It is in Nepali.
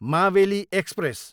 मावेली एक्सप्रेस